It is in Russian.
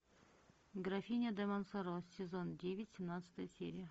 графиня де монсоро сезон девять семнадцатая серия